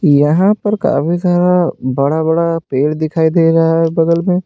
यहां पर काफ़ी सारा बड़ा बड़ा पेड़ दिखाई दे रहा है बगल में।